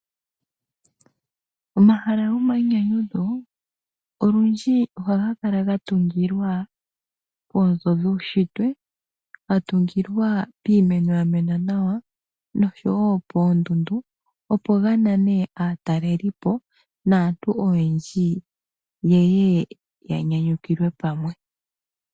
Omahala gomainyanyudho olundji ohaga kala ga tungilwa poonzo dhuushitwe. Ga tungilwa piimeno ya mena nawa noshowo poondundu opo ga nane aatalelipo naantu oyendji ye ye ya nyanyukilwe pamwe.